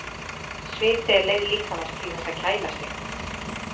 Sviti er leið líkamans til þess að kæla sig.